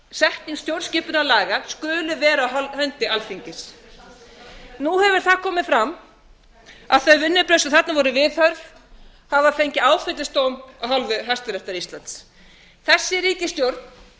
að þekking stjórnskipunarlaga skuli vera á hendi alþingis nú hefur það komið fram að þau vinnubrögð sem þarna voru viðhöfð hafa fengi áfellisdóm af hálfu hæstaréttar íslands þessi ríkisstjórn